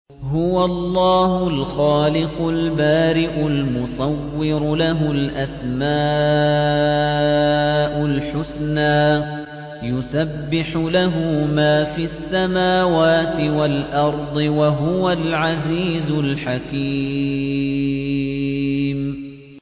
هُوَ اللَّهُ الْخَالِقُ الْبَارِئُ الْمُصَوِّرُ ۖ لَهُ الْأَسْمَاءُ الْحُسْنَىٰ ۚ يُسَبِّحُ لَهُ مَا فِي السَّمَاوَاتِ وَالْأَرْضِ ۖ وَهُوَ الْعَزِيزُ الْحَكِيمُ